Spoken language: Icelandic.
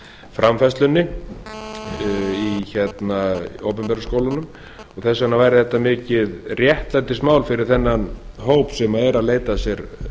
framfærslunni í opinberu skólunum þess vegna væri þetta mikið réttlætismál fyrir þennan hóp sem er að leita sér